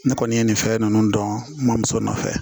Ne kɔni ye nin fɛn ninnu dɔn n mamuso nɔfɛ